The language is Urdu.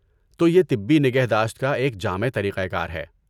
تو یہ طبی نگہداشت کا ایک جامع طریقہ کار ہے۔